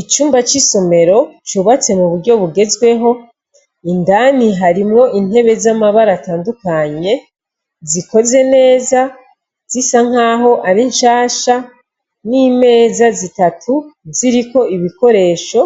icumba c' isomero cubatse muburyo bugezweho, indani harimw' intebe z' amabar' atandukanye zikoze neza zisankah' arinshasha n' imeza zitatu zirik' ibikoresho,